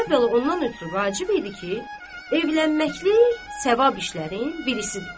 Əvvəla ondan ötrü vacib idi ki, evlənməklik savab işlərin birisidir.